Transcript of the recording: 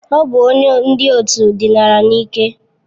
Ọ bụ onye ndị òtù dinara n'ike.